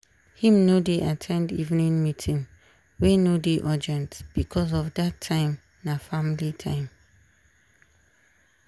him no dey at ten d evening meeting wey no dey urgent becos of dat time na family time.